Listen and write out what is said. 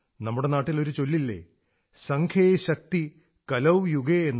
നമ്മുടെ നാട്ടിൽ ഒരു ചൊല്ലില്ലേ സംഘേ ശക്തി കലൌ യുഗേ